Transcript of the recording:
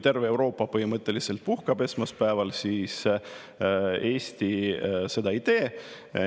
Terve Euroopa põhimõtteliselt puhkab sel esmaspäeval, aga Eesti seda ei tee.